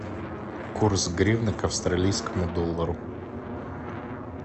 курс гривны к австралийскому доллару